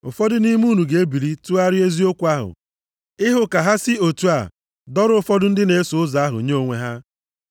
Ụfọdụ nʼime unu ga-ebili tụgharịa eziokwu ahụ ịhụ ka ha si otu a dọrọ ụfọdụ ndị na-eso ụzọ ahụ nye onwe ha.